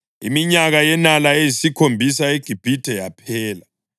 Iminyaka yenala eyisikhombisa eGibhithe yaphela,